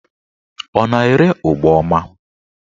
Ọ na-ere ụgbọma?